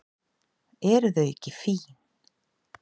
Eru þau ekki fín?